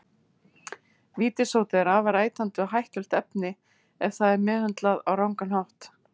Vítissódi er afar ætandi og hættulegt efni ef það er meðhöndlað á rangan hátt.